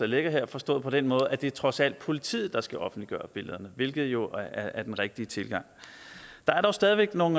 ligger her forstået på den måde at det trods alt er politiet der skal offentliggøre billederne hvilket jo er den rigtige tilgang der er dog stadig væk nogle